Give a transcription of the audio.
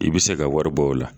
I bɛ se ka wari bɔ o la